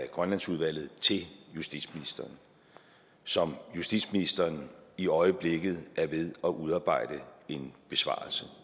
grønlandsudvalget til justitsministeren som justitsministeren i øjeblikket er ved at udarbejde en besvarelse